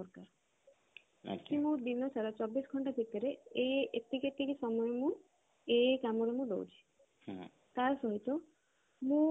କି ମୁଁ ଦିନ ସାରା ଚବିଶ ଘଣ୍ଟା ଭିତରେ ଏ ଏତିକି ଏତିକି ସମୟ ମୁଁ ଏଇ ଏଇ କାମରେ ମୁଁ ଦଉଛି ତା ସହିତ ମୁଁ